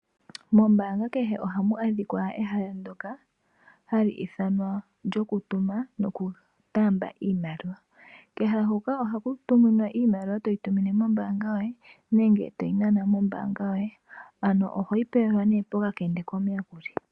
Mombaanga kehe ohamu adhika ehala ndoka hali thanwa lyokutuma noku taamba iimaliwa. Pehala mpoka ohapu tuminwa iimaliwa toyi tumine mombaanga yoye nenge toyi nana mombaanga yoye.